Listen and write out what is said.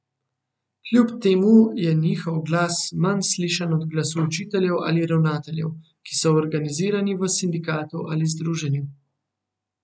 Kljub temu je njihov glas manj slišan od glasu učiteljev ali ravnateljev, ki so organizirani v sindikatu ali združenju.